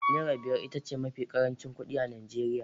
Naira biyar ita ce mafi ƙarancin kuɗi a Najeriya